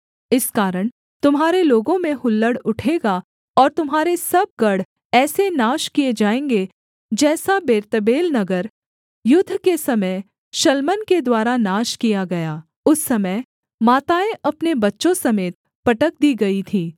इस कारण तुम्हारे लोगों में हुल्लड़ उठेगा और तुम्हारे सब गढ़ ऐसे नाश किए जाएँगे जैसा बेतर्बेल नगर युद्ध के समय शल्मन के द्वारा नाश किया गया उस समय माताएँ अपने बच्चों समेत पटक दी गईं थी